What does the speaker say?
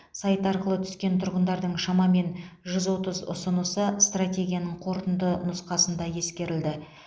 сайт арқылы түскен тұрғындардың шамамен жүз отыз ұсынысы стратегияның қорытынды нұсқасында ескерілді